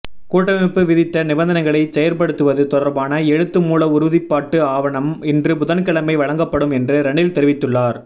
கூட்டமைப்பு விதித்த நிபந்தனைகளைச் செயற்படுத்துவது தொடர்பான எழுத்துமூல உறுதிப்பாட்டு ஆவணம் இன்று புதன்கிழமை வழங்கப்படும் என்று ரணில் தெரிவித்துள்ளார்